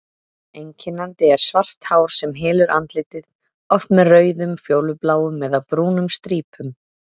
Einkennandi er svart hár sem hylur andlitið, oft með rauðum, fjólubláum eða brúnum strípum.